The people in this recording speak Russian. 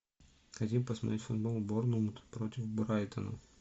хотим посмотреть футбол болнмут против брайтона